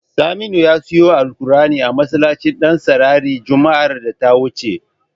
Saminu ya siyo alkur'ani a masallacin Ɗansarari juma'ar da ta wuce.